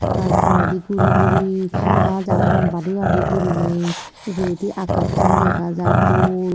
tar poredi guri guri gaaj agon badi badi guriney uguredi agassan dega jar dol.